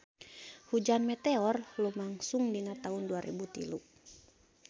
Hujan meteor lumangsung dina taun dua rebu tilu